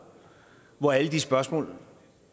hvor alle de spørgsmål